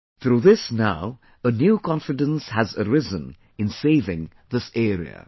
Through this now a new confidence has arisen in saving this area